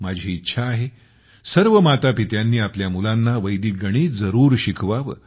माझी इच्छा आहे सर्व मातापित्यांनी आपल्या मुलांना वैदिक गणित जरुर शिकवावे